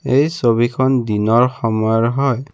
এই ছবিখন দিনৰ সময়ৰ হয়।